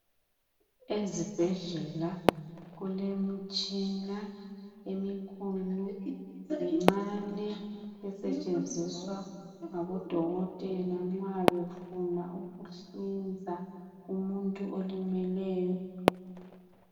Ezibhedlela kulemitshina emikhulu lemincane ncane esetshenziswa ngabodokotela nxa befuna ukuhlinza umuntu olimeleyo.